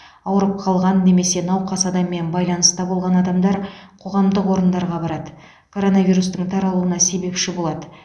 ауырып қалған немесе науқас адаммен байланыста болған адамдар қоғамдық орындарға барады коронавирустың таралуына себепші болады